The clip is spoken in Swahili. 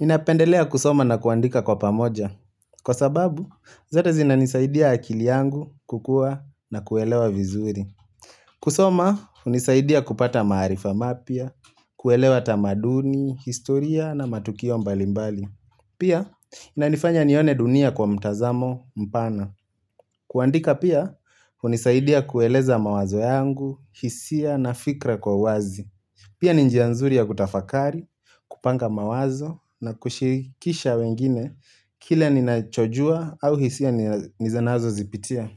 Ninapendelea kusoma na kuandika kwa pamoja. Kwa sababu, zote zinanisaidia akili yangu kukua na kuelewa vizuri. Kusoma, hunisaidia kupata maarifa mapya, kuelewa tamaduni, historia na matukio mbalimbali. Pia, inanifanya nione dunia kwa mtazamo mpana. Kuandika pia, hunisaidia kueleza mawazo yangu, hisia na fikra kwa uwazi. Pia ni njia nzuri ya kutafakari, kupanga mawazo na kushikisha wengine kile ninachojua au hisia nizanazozipitia.